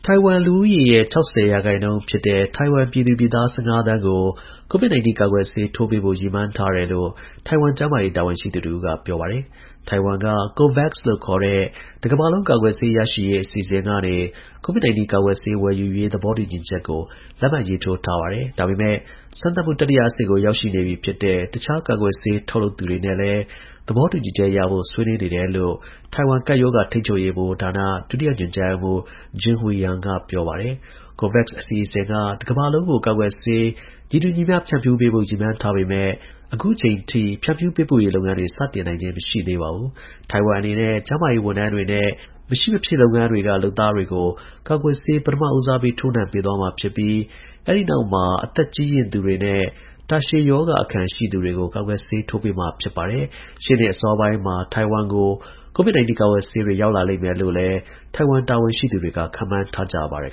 ိုင်ဝမ် လူဦးရေရဲ့ ၆၀ ရာခိုင်နှုန်းဖြစ်တဲ့ ထိုင်ဝမ်ပြည်သူပြည်သား ၁၅ သန်းကို COVID 19 ကာကွယ်ဆေးထိုးပေးဖို့ ရည်မှန်း ထားတယ်လို့ ထိုင်ဝမ် ကျန်းမာရေး တာဝန်ရှိသူတစ်ဦးက ပြောပါတယ်။ ထိုင်ဝမ်က COVAX လို့ခေါ်တဲ့ တစ်ကမ္ဘာလုံး ကာကွယ်ဆေး ရရှိရေး အစီအစဉ်ကနေ COVID 19 ကာကွယ်ဆေး ဝယ်ယူရေး သဘောတူညီချက်ကို လက်မှတ်ရေးထိုးထားတာပါ။ ဒါပေမယ့် စမ်းသပ်မှု တတိယအဆင့်ကို ရောက်နေပြီ ဖြစ်တဲ့ တခြား ကာကွယ်ဆေး ထုတ်လုပ်သူတွေနဲ့လည်း သဘောတူချက်ရဖို့ ဆွေးနွေးနေတယ်လို့လည်း ထိုင်ဝမ် ကပ်ရောဂါ ထိန်းချုပ်ရေးဗဟိုဌာန ဒုတိယ ညွှန်ကြားရေးမှူး Jing-Hui Yang က ပြောပါတယ်။ COVAX အစီအစဉ်က တစ်ကမ္ဘာလုံးကို ကာကွယ်ဆေး ညီတူညီမျှ ဖြန့်ဖြူးပေးဖို့ ရည်မှန်းထားပေမယ့် အခုအချိန်အထိ ဖြန့်ဖြူး ပေးပို့ရေး လုပ်ငန်းတွေ စတင်နိုင်ခြင်း မရှိသေးပါဘူး။ ထိုင်ဝမ်အနေနဲ့ ကျန်းမာရေးဝန်ထမ်းတွေနဲ့ မဖြစ်မရှိ လုပ်ငန်းတွေက လုပ်သားတွေကို ကာကွယ်ဆေး ပထမဦးစားပေး ထိုးနှံပေးသွားမှာ ဖြစ်ပြီး အဲဒီနောက်မှာ အသက်အရွယ် ကြီးရင့်သူတွေနဲ့ တာရှည် ရောဂါအခံ ရှိသူတွေကို ကာကွယ်ဆေး ထိုးပေးမှာ ဖြစ်ပါတယ်။ ရှေ့နှစ် အစောပိုင်းမှာ ထိုင်ဝမ်ကို COVID 19 ကာကွယ်ဆေးတွေ ရောက်လာလိမ့်မယ်လို့လည်း ထိုင်ဝမ် တာဝန်ရှိသူတွေက ခန့်မှန်းထားကြ ပါတယ်